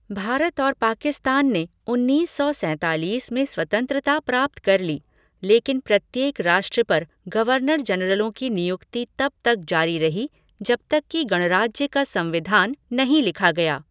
भारत और पाकिस्तान ने उन्नीस सौ सैंतालीस में स्वतंत्रता प्राप्त कर ली, लेकिन प्रत्येक राष्ट्र पर गवर्नर जनरलों की नियुक्ति तब तक जारी रही जब तक कि गणराज्य का संविधान नहीं लिखा गया।